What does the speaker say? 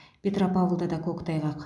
петропавлда да көктайғақ